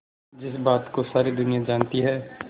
जिस बात को सारी दुनिया जानती है